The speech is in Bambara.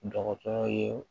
Dɔgɔtɔrɔ ye